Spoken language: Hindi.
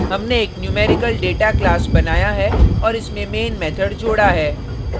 हमने एक न्यूमेरिकल डेटा class बनाया है और इसमें main method जोडा है